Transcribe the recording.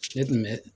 Ne tun bɛ